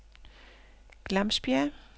Glamsbjerg